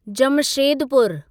जमशेदपुरु